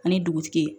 Ani dugutigi ye